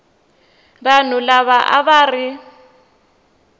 vanhu lava a va ri